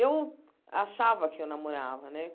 Eu achava que eu namorava, né?